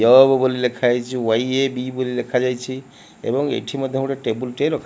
Job ବୋଲି ଲେଖା ଯାଇଛି। ୱାଇଏବି ବୋଲି ଲେଖାଯାଇଛି। ଏବଂ ଏଠି ମଧ୍ୟ ଗୋଟେ ଟେବୁଲ ରଖା।